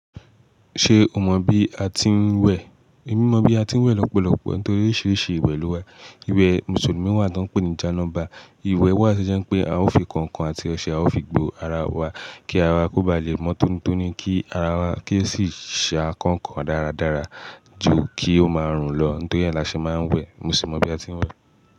Ṣé o mọ bí a tí ń wẹ? Emi mọ bí a tí ń wẹ̀ lọ́pọ̀lọpọ̀ nítorí oríṣiríṣi ìwẹ̀ ló wà. Ìwẹ̀ Mùsùlùmí wà tí wọ́n ń pè ní jánọ́ba. Ìwẹ̀ wà tí ó jẹ́ n pé a ó fi kọ̀ǹkọ̀n àti ọṣẹ, a ó fi gbó ara wa kí ara kó ba lè mọ́ tónitóní, kí ara wa kí ó sì ṣà kọ̀ǹkọ̀n dáradára ju kí ó máa rùn lọ. Nítorí ẹ̀ là ṣe máa ń wẹ̀. Mo sì mọ bí a tí ń wẹ̀.